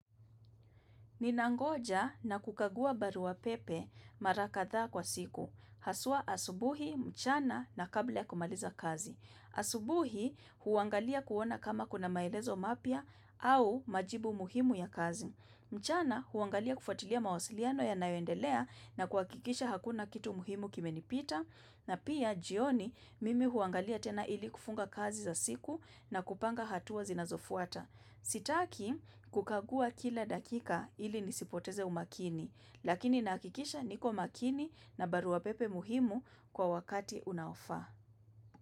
Ninangoja na kukagua barua pepe marakadha kwa siku. Haswa asubuhi, mchana na kabla ya kumaliza kazi. Asubuhi huangalia kuona kama kuna maelezo mapya au majibu muhimu ya kazi. Mchana huangalia kufuatilia mawasiliano ya nayondelea na kuakikisha hakuna kitu muhimu kime nipita na pia jioni mimi huangalia tena ili kufunga kazi za siku na kupanga hatua zinazofuata. Sitaki kukagua kila dakika ili nisipoteze umakini lakini naakikisha niko makini na barua pepe muhimu kwa wakati unaofaa.